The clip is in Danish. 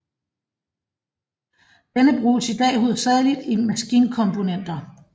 Denne bruges i dag hovedsageligt i maskinkomponenter